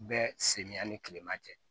Bɛɛ sen ni tilema tɛ